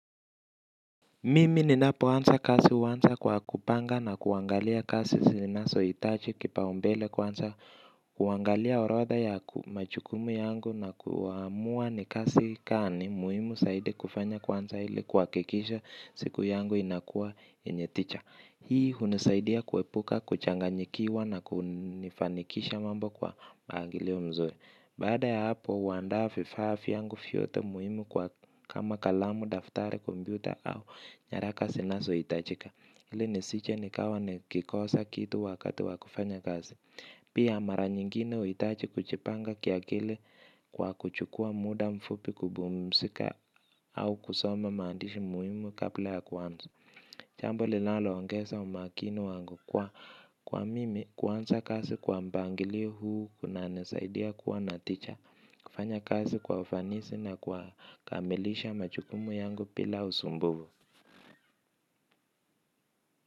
Mimi ninapoansa kasi huansa kwa kupanga na kuangalia kasi sinasoitaji kipaumbele kwanza kuangalia orodha ya majukumu yangu na kuamua ni kazi gani muhimu zaidi kufanya kuanza ili kuhakikisha siku yangu inakua yenye tija. Hii hunisaidia kuepuka, kuchanganyikiwa na kunifanikisha mambo kwa angilio mzuri. Baada ya hapo, huandaa vifaa vyangu vyote muhimu kwa kama kalamu daftari kompyuta au nyaraka zinazohitajika. Hili nisije nikawa nikikosa kitu wakati wa kufanya kazi. Pia mara nyingine huhitaji kujipanga kiakili kwa kuchukua muda mfupi kubumisika au kusoma mandishi muhimu kabla ya kuanza. Jambo lilaloongeza umakini wangu kwa mimi kuanza kasi kwa mpangilio huu kunanisaidia kuwa na tija kufanya kazi kwa ufanisi na kwa kamilisha majukumu yangu bila usumbuvu.